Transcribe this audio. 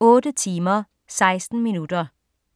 8 timer, 16 minutter.